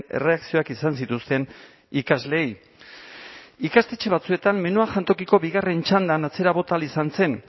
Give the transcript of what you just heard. erreakzioak izan zituzten ikasleei ikastetxe batzuetan menua jantokiko bigarren txandan atzera bota ahal izan zen